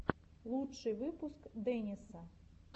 лучший выпуск дэниса